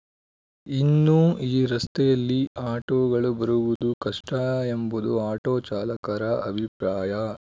ಇನ್ನೂ ಈ ರಸ್ತೆಯಲ್ಲಿ ಆಟೋಗಳು ಬರುವುದೂ ಕಷ್ಟಎಂಬುದು ಆಟೋ ಚಾಲಕರ ಅಭಿಪ್ರಾಯ